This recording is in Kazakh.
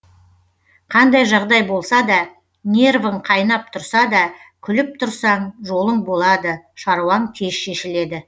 қандай жағдай болса да нервің қайнап тұрса да күліп тұрсаң жолың болады шаруаң тез шешіледі